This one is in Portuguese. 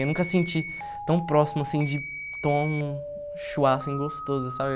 Eu nunca senti tão próximo, assim, de tomar um assim, gostoso, sabe?